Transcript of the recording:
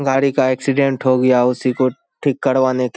गाड़ी का एक्सीडेंट हो गया उसी को ठीक करवाने के --